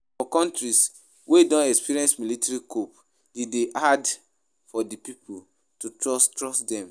For countries wey don experience military coup de dey hard for di pipo to trust trust dem